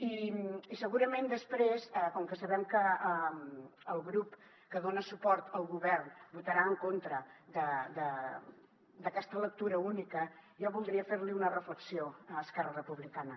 i segurament després com que sabem que el grup que dona suport al govern votarà en contra d’aquesta lectura única jo voldria ferli una reflexió a esquerra republicana